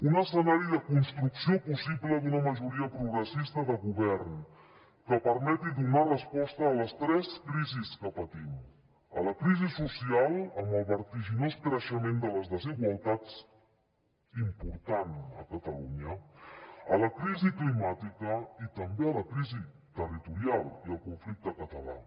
un escenari de construcció possible d’una majoria progressista de govern que permeti donar resposta a les tres crisi que patim a la crisi social amb el vertiginós creixement de les desigualtats important a catalunya a la crisi climàtica i també a la crisi territorial i al conflicte català